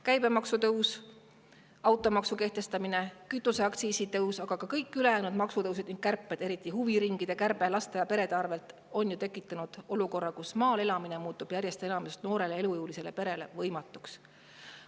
Käibemaksu tõus, automaksu kehtestamine, kütuseaktsiisi tõus ja kõik ülejäänud maksutõusud ja kärped, eriti huviringide kärbe laste ja perede arvelt on tekitanud olukorra, kus maal elamine muutub järjest enam noorele elujõulisele perele võimatuks.